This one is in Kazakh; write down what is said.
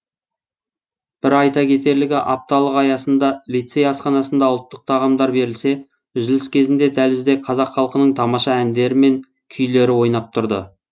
бір айта кетерлігі апталық аясында лицей асханасында ұлттық тағамдар берілсе үзіліс кезінде дәлізде қазақ халқының тамаша әндер мен күйлері ойнап тұрды